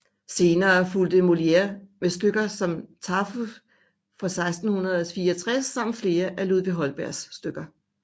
Senere fulgte Molière med stykker som Tartuffe fra 1664 samt flere af Ludvig Holbergs stykker